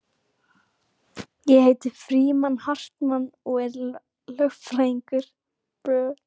Ég heiti Frímann Hartmann og er lögfræðingur